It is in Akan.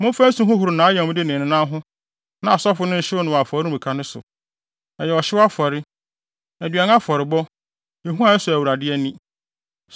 Momfa nsu nhohoro nʼayamde ne ne nan ho na asɔfo no nhyew no wɔ afɔremuka no so. Ɛyɛ ɔhyew afɔre, aduan afɔrebɔ, ehua a ɛsɔ Awurade ani.